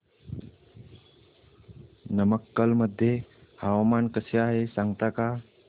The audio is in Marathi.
नमक्कल मध्ये हवामान कसे आहे सांगता का